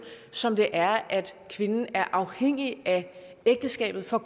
som det er at kvinden er afhængig af ægteskabet for